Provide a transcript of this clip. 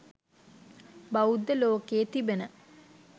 බෞද්ධ ලෝකයේ තිබෙන